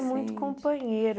É muito companheiro.